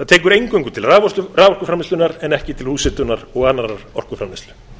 það tekur bara til raforkuframleiðslunnar en ekki til húshitunar og annarrar orkuframleiðslu